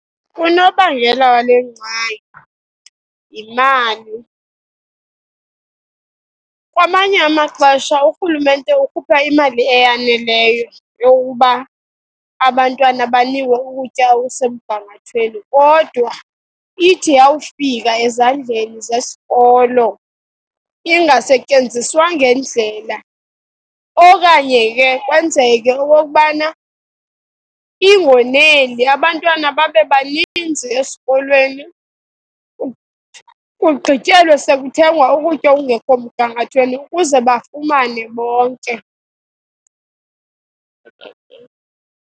Unobangela wale ngxaki, yimali. Kwamanye amaxesha urhulumente ukhupha imali eyaneleyo yokuba abantwana banikwe ukutya okusemgangathweni, kodwa ithi yawufika ezandleni zesikolo, ingasetyenziswa ngendlela. Okanye ke kwenzeke okokubana ingoneli, abantwana babe baninzi esikolweni, kugqityelwe sekuthengwa ukutya okungekho mgangathweni ukuze bafumane bonke.